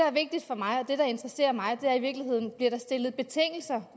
er vigtigt for mig og det der interesserer mig er i virkeligheden om der bliver stillet betingelser